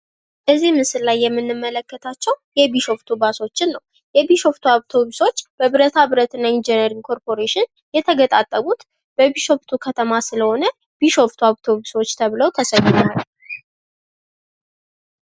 እዚህ ምስል ላይ የምንመለከታቸው የቢሾፍቱ ባሶችን ነው። የቢሾፍቱ አውቶብሶች በብረታ ብረትና ኢንጂነሪንግ ኮርፖሬሽን የተገጣጠሙት በቢሾፍቱ ከተማ ስለሆነ፤ ቢሾፍቱ አውቶቡሶች ተብለው ተሰይመዋል።